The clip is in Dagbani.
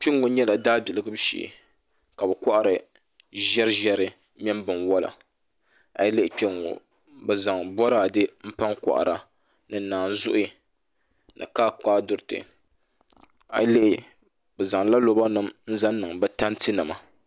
Kpɛŋŋo nyɛla daabilim shee ka bi kohari ʒɛri ʒɛri mini binwola a yi lihi kpɛŋŋo bi zaŋ boraadɛ n pa n kohara ni naazuhi ni kaakaadiriti a yi lihi bi zaŋla loba nim n zaŋ niŋ bi tanti nima